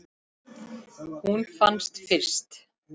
Hún fannst fyrst.